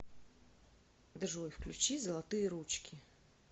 джой включи золотые ручки